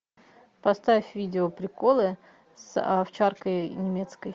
поставь видео приколы с овчаркой немецкой